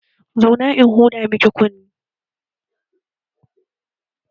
Zauna in huda miki kunne!